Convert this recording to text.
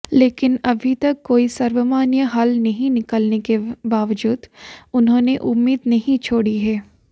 लेकिन अभी तक कोई सर्वमान्य हल नहीं निकलने के बावजूद उन्होंने उम्मीद नहीं छोड़ी है